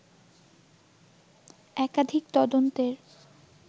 একাধিক তদন্তের